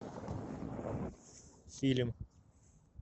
фильм